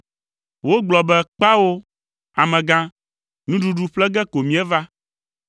Wogblɔ be, “Kpao! Amegã, nuɖuɖu ƒle ge ko míeva;